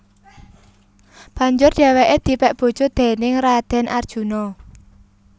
Banjur dheweke dipek bojo déning Raden Arjuna